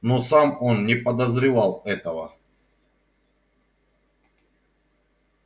но сам он не подозревал этого